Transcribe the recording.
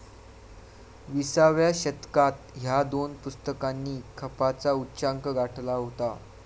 विसाव्या शतकात ह्या दोन पुस्तकांनी खपाचा उच्चांक गाठला होता.